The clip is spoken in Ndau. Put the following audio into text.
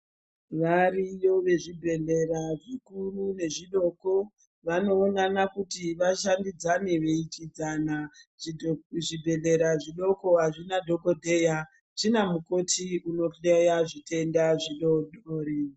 Variyo vezvibhedhleya zvikuru nezvidoko vanoonana kuti vashandidzane veidyidzana. Zvibhedhlera zvidoko hazvina dhokodhera zvina mukoti unohleya zvitenda zvidodori.